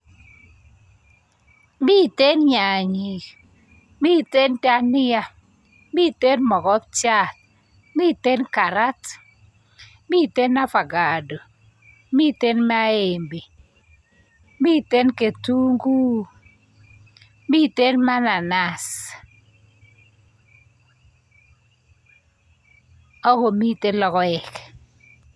Miten nyanyik, miten dhania, miten mogopchat, miten karat, miten avacado, miten maembe, mitenketunguuk, miten mananasi, ako miten logoek.